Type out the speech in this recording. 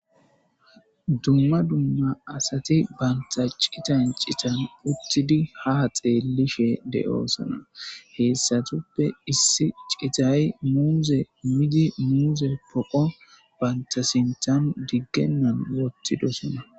Dumma dumma assathi banththa cithan cithan uttidi ha xelishe dossona. Heyssathuppe issi cithay muzze midi mizze poqo bantta sinththan digenan wotidossona.